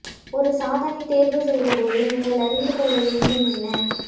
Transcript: ஒரு சாதனத்தைத் தேர்வுசெய்ய போது நீங்கள் அறிந்து கொள்ள வேண்டும் என்ன